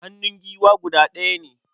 Hannun giwa guda ɗaya ne.